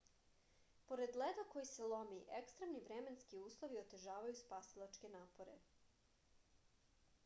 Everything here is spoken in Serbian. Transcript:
pored leda koji se lomi ekstremni vremenski uslovi otežavaju spasilačke napore